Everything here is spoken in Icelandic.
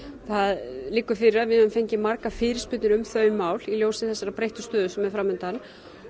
það liggur fyrir að við höfum fengið margar fyrirspurnir um þau mál í ljósi þeirrar breyttu stöðu sem nú er fram undan